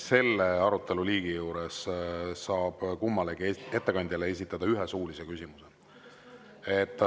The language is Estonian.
Selle aruteluliigi juures saab kummalegi ettekandjale esitada ühe suulise küsimuse.